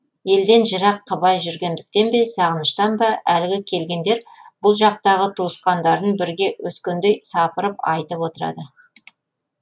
елден жырақ қыбай жүргендіктен бе сағыныштан ба әлгі келгендер бұл жақтағы туысқандарын бірге өскендей сапырып айтып отырады